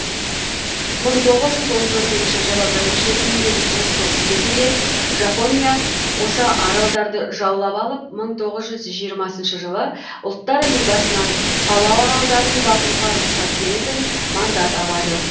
мың тоғыз жүз он төртінші жылы бірінші дүниежүзілік соғыс кезінде жапония осы аралдарды жаулап алып мың тоғыз жүз жиырмасыншы жылы ұлттар лигасынан палау аралдарын бағуға рұқсат беретін мандат алады